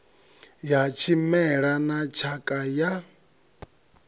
ya tshimela na tshakha ya